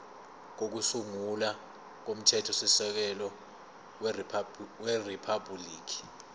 kokusungula komthethosisekelo weriphabhuliki